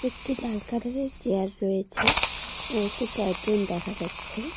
একটি লাল কালার -এর চেয়ার রয়েছে ও একটি টয় ট্রেন দেখা যাচ্ছে।